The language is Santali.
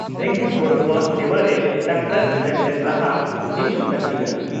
ᱨᱮᱸᱜᱮᱡ ᱦᱚᱲ ᱠᱚᱣᱟᱜ ᱥᱮᱵᱟᱨᱮ ᱰᱟᱠᱛᱟᱨ ᱥᱮᱢᱞᱮᱫ ᱞᱟᱦᱟ ᱦᱤᱡᱩᱜ ᱞᱟᱹᱠᱛᱤ ᱠᱟᱱᱟ ᱾